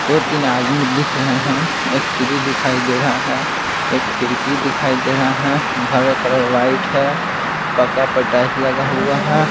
दो-तीन आदमी दिख रहे हैं एक सिरी दिखाई दे रहा है एक खिड़की दिखाई दे रहा है घर का कलर वाइट है पक्का पे टाइल्स लगा हुआ है।